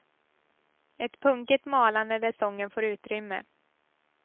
Ett punkigt malande där sången får utrymme.